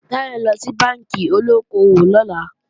Táyọ̀ ńlọ sí bánkì olóko-òwò lọ́la